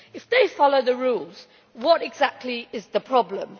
If they follow the rules, what exactly is the problem?